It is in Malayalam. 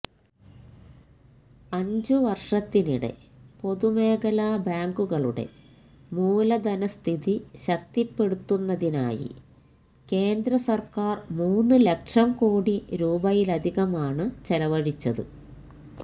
അഞ്ചുവർഷത്തിനിടെ പൊതുമേഖലാ ബാങ്കുകളുടെ മൂലധനസ്ഥിതി ശക്തിപ്പെടുത്തുന്നതിനായി കേന്ദ്രസർക്കാർ മൂന്നുലക്ഷംകോടി രൂപയിലധികമാണ് ചെലവഴിച്ചത്